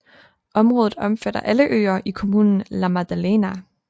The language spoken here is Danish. Området omfatter alle øer i kommunen La Maddalena